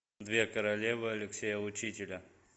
две королевы алексея учителя